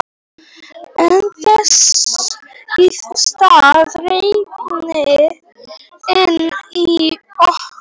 En þess í stað rigndi inni í okkur.